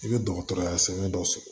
I bɛ dɔgɔtɔrɔya sɛbɛn dɔ sɔrɔ